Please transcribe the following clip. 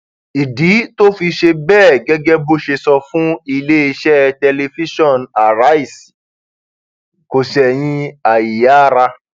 ìdí tó fi ṣe bẹẹ gẹgẹ bó ṣe sọ fún iléeṣẹ tẹlifíṣàn aríṣẹ kò ṣẹyìn àìyáára